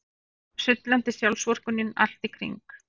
Sullandi sjálfsvorkunnin allt í kring.